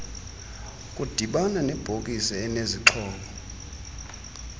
kudibane nebhokisi enezixhobo